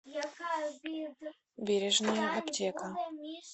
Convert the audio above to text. бережная аптека